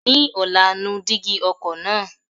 Ní ọ̀la, nu dígí ọkọ̀ náà.